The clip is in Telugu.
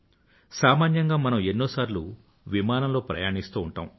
సామాన్యంగా మనం ఎన్నోసార్లు విమానంలో ప్రయాణిస్తూ ఉంటాము